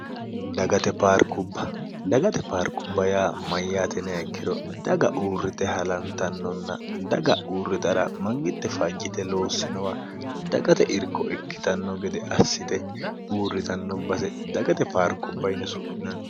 dbbdagate paarkubba yaa mayyaate neekkiro daga uurrite halantannonna daga uurrixara mangitte fajyite loossinowa dagate irko ikkitanno gede assite uurritannobbase dagate paarkubbayine su'minanno